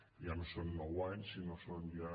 ja no són nou anys sinó que són ja